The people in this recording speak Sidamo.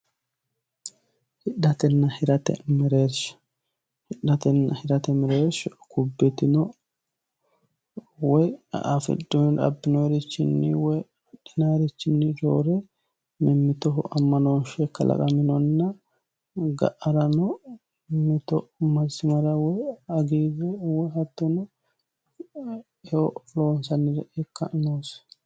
Hidhatenna hirate mereersha, hidhate hirate mereersha hubbi ytino woyi abbinoniricho hidhinannirini roore mimmittoho amanoshe kalaqanonna ga'arano hagiireho masimara biifanoha techo loonsanniha ikka noosi.